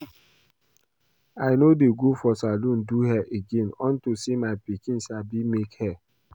I no dey go for salon do hair again unto say my pikin sabi make hair